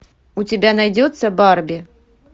у тебя найдется барби